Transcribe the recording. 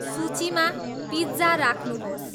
सूचीमा पिज्जा राख्नुहोस्